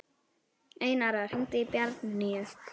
Einara, hringdu í Bjarnnýju.